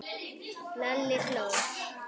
Lalli hló.